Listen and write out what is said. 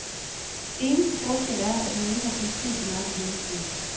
Eneste forskel er, at man ikke har politiet på nakken hele tiden.